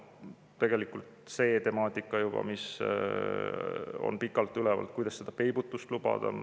Siis see temaatika, mis on pikalt üleval, kuidas peibutust lubada.